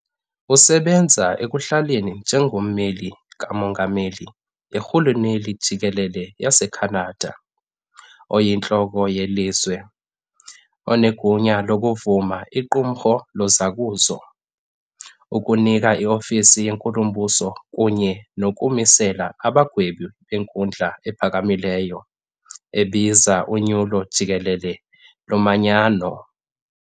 Usebenza ekuhlaleni njengommeli kamongameli yirhuluneli jikelele yaseCanada, "oyintloko" yelizwe, enegunya lokuvuma iqumrhu lozakuzo, ukunika iofisi yenkulumbuso kunye nokumisela abagwebi beNkundla ePhakamileyo, ebiza unyulo jikelele lomanyano.